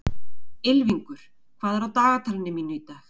Ylfingur, hvað er á dagatalinu mínu í dag?